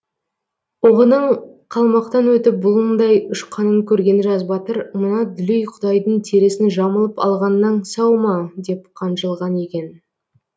оғының қалмақтан өтіп бұлыңдай ұшқанын көрген жас батыр мына дүлей құдайдың терісін жамылып алғаннан сау ма деп қанжылған екен